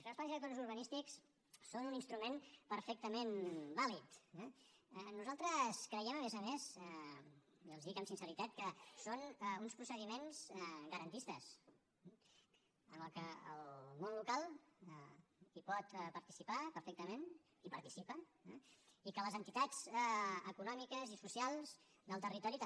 perquè els plans directors urbanístics són un instrument perfectament vàlid eh nosaltres creiem a més a més i els ho dic amb sinceritat que són uns procediments garantistes en què el món local pot participar perfectament i hi participa eh i que les entitats econòmiques i socials del territori també